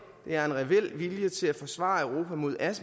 er en reel vilje til at forsvare europa mod